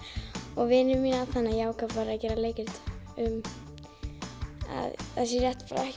og vini mína þannig ég ákvað að gera leikrit um að það sé rétt